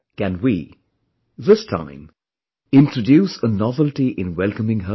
Can we, this time, introduce a novelty in welcoming her